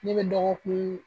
Ne bɛ dɔgɔkun